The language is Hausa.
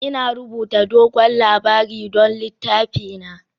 Ina rubuta dogon labari don littafina